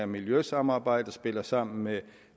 miljøsamarbejde spiller sammen med